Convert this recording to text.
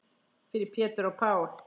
Fyrir Pétur og Pál.